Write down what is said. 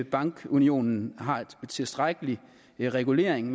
bankunionen har en tilstrækkelig regulering